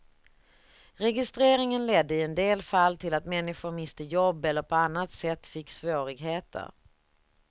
Registreringen ledde i en del fall till att människor miste jobb eller på annat sätt fick svårigheter.